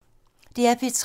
DR P3